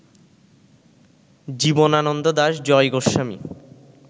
Jibanananda Das, Joy Goswami